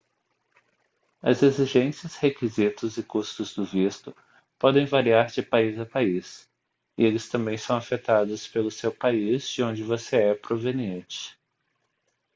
as exigências requisitos e custos do visto podem variar de país a país e eles também são afetados pelo seu país de onde você é proveniente